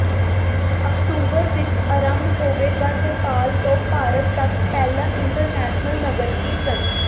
October ਵਿਚ ਆਰੰਭ ਹੋਵੇਗਾ ਨੇਪਾਲ ਤੋਂ ਭਾਰਤ ਤਕ ਪਹਿਲਾ ਇੰਟਰਨੈਸ਼ਨਲ ਨਗਰ ਕੀਰਤਨ